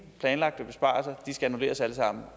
planlagte besparelser de skal annulleres alle sammen